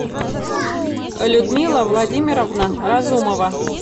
людмила владимировна разумова